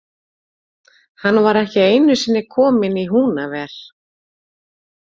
Hann var ekki einusinni kominn í Húnaver.